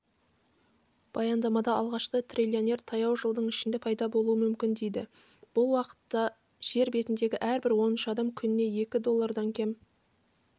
баяндамада алғашқы триллионер таяу жылдың ішінде пайда болуы мүмкін дейді бұл уақытта жер бетіндегі әрбір оныншы адам күніне екі доллардан кем